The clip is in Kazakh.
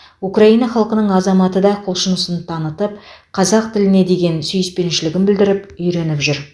украина халқының азаматы да құлшынысын танытып қазақ тіліне деген сүйіспеншілігін білдіріп үйреніп жүр